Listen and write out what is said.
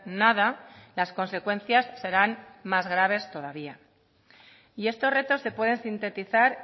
nada las consecuencias serán más graves todavía y estos retos se pueden sintetizar